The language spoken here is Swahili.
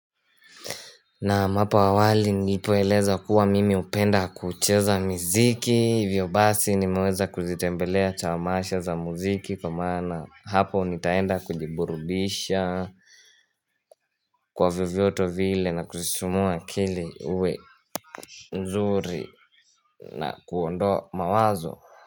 Naam, hapo awali nilipoeleza kuwa mimi hupenda kucheza miziki, hivyo basi nimeweza kuzitembelea tamasha za mziki kwa maana hapo nitaenda kujiburubisha kwa vyovyote vile na kusisimua kili uwe nzuri na kuondoa mawazo.